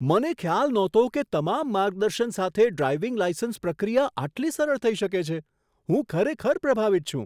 મને ખ્યાલ નહોતો કે તમામ માર્ગદર્શન સાથે ડ્રાઈવિંગ લાઈસન્સ પ્રક્રિયા આટલી સરળ થઈ શકે છે. હું ખરેખર પ્રભાવિત છું!